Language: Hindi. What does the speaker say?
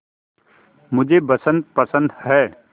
मुझे बसंत पसंद है